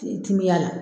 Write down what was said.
Timiya la